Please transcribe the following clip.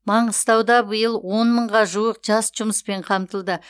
маңғыстауда биыл он мыңға жуық жас жұмыспен қамтылды